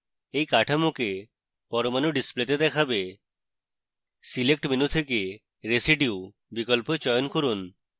এটি কাঠামোকে পরমাণু ডিসপ্লেতে দেখাবে select menu থেকে residue বিকল্প চয়ন from